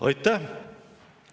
Aitäh!